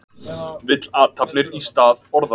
Vill athafnir í stað orða